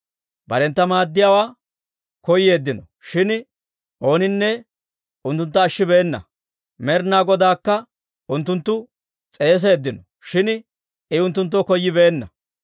Barentta maaddiyaawaa koyeeddino; shin ooninne unttuntta ashshibeenna. Med'inaa Godaakka unttunttu s'eeseeddino; shin I unttunttoo koyyibeenna.